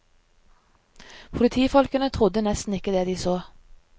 Politifolkene trodde nesten ikke det de så.